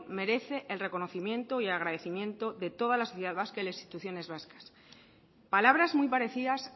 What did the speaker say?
merece el reconocimiento y el agradecimiento de toda las sociedad vasca y las instituciones vascas palabras muy parecidas